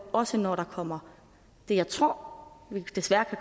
også når der kommer det jeg tror vi desværre